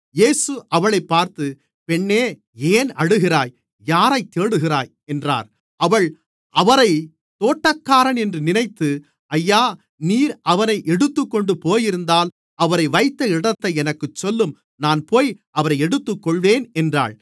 இயேசு அவளைப் பார்த்து பெண்ணே ஏன் அழுகிறாய் யாரைத் தேடுகிறாய் என்றார் அவள் அவரைத் தோட்டக்காரன் என்று நினைத்து ஐயா நீர் அவரை எடுத்துக்கொண்டு போயிருந்தால் அவரை வைத்த இடத்தை எனக்குச் சொல்லும் நான் போய் அவரை எடுத்துக்கொள்வேன் என்றாள்